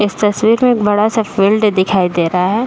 इस तस्वीर में एक बड़ा सा फील्ड दिखाई दे रहा है।